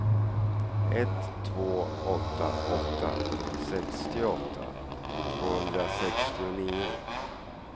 ett två åtta åtta sextioåtta tvåhundrasextionio